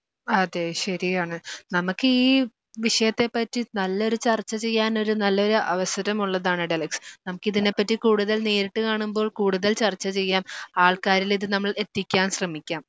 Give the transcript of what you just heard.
അതെ ശരിയാണ്. നമുക്കീ വിഷയത്തെപ്പറ്റി നല്ലൊരു ചർച്ച ചെയ്യാനൊരു നല്ലൊരു അവസരമുള്ളതാണ് ടെലെക്സ്. എനിക്കിതിനെപ്പറ്റി കൂടുതൽ നേരിട്ട് കാണുമ്പോൾ കൂടുതൽ ചർച്ച ചെയ്യാം. ആൾക്കാരിലിത് നമ്മൾ എത്തിക്കാൻ ശ്രമിക്കാം.